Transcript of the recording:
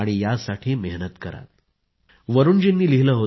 मी अतिसामान्य होतो आणि आज मी माझ्या कारकीर्दीत अनेक मैलाचे दगड पार केले आहेत